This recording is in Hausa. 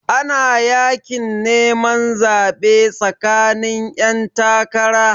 Ana yakin neman zaɓe tsakanin 'yantakara.